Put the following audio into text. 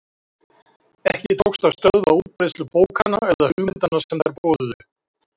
Ekki tókst þó að stöðva útbreiðslu bókanna eða hugmyndanna sem þær boðuðu.